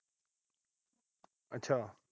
ਅੱਛਾ।